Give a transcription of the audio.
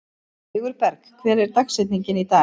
Sigurberg, hver er dagsetningin í dag?